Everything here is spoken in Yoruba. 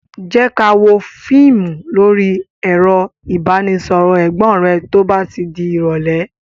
Jé ká wò fíìmù lórí ẹ̀rọ ìbánisọọ̀rọ̀ Ẹ̀gbọ́n rẹ to bá ti di irọ̀lẹ́